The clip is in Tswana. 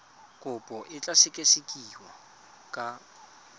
kopo e tla sekasekiwa ka